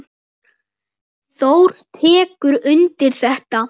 Þór tekur undir þetta.